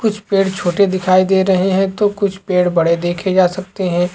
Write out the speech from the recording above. कुछ पेड़ छोटे दिखाई दे रहे है तो कुछ पेड़ बड़े दिखाई देखे जा सकते है।